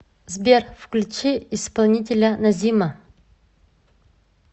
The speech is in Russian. сбер включи исполнителя назима